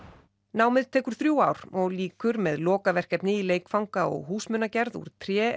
námið tekur þrjú ár og lýkur með lokaverkefni í leikfanga og húsgagnagerð úr tré